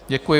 Děkuji.